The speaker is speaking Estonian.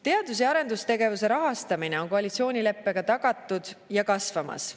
Teadus‑ ja arendustegevuse rahastamine on koalitsioonileppega tagatud ja kasvamas.